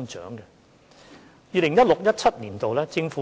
政府在 2016-2017 年度